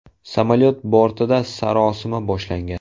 Samolyot bortida sarosima boshlangan.